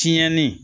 Tiɲɛnii